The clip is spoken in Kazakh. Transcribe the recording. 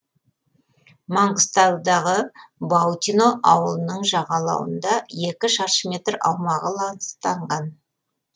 маңғыстаудағы баутино ауылының жағалауында екі шаршы метр аумағы ластанған